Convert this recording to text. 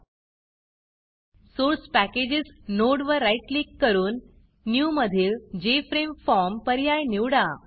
source Packagesसोर्स packages नोडवर right click करून Newन्यू मधील जेएफआरएमई formजेफ्रेम फॉर्म पर्याय निवडा